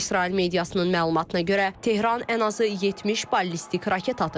İsrail mediasının məlumatına görə Tehran ən azı 70 ballistik raket atıb.